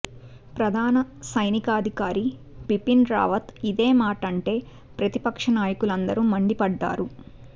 ప్రధాన సైనికాధికారి బిపిన్ రావత్ ఇదే మాటంటే ప్రతిపక్ష నాయకులందరూ మండిపడ్డారు